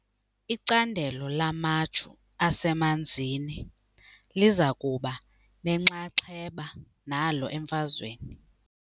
Icandelo lamaju asemanzini liza kuba nenxaxheba nalo emfazweni.